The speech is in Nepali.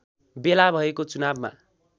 बेला भएको चुनावमा